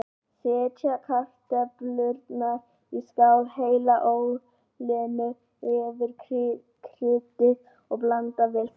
Setjið kartöflurnar í skál, hellið olíunni yfir, kryddið og blandið vel saman.